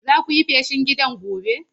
Zaku yi feshin gidan gobe.